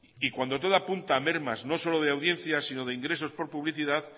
y cuando todo apunta a mermas no solo de audiencia sino de ingresos por publicidad